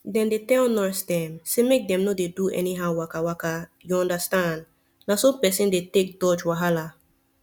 dem dey tell nurse dem say make dem no dey do anyhow wakawaka you understand na so person dey take dodge wahala